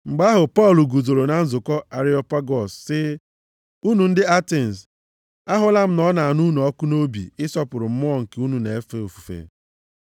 Mgbe ahụ Pọl guzoro na nzukọ Areopagọs sị, “Unu ndị Atens, ahụla m na ọ na-anụ unu ọkụ nʼobi ịsọpụrụ mmụọ nke unu na-efe ofufe.